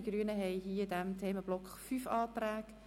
Die Grünen haben in diesem Themenblock fünf Anträge.